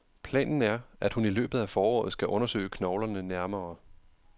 Planen er, at hun i løbet af foråret skal undersøge knoglerne nærmere.